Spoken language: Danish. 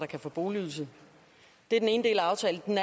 kan få boligydelse det er den ene del af aftalen den